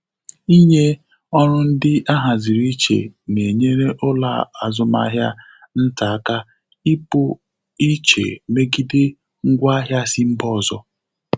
Ịnye ọrụ ndị ahaziri iche na-enyere ụlọ azụmahịa nta aka ịpụ iche megide ngwa ahia si mba ọzọ.